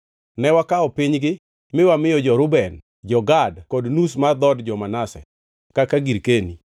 Ne wakawo pinygi mi wamiyo jo-Reuben, jo-Gad kod nus mar dhood jo-Manase kaka girkeni.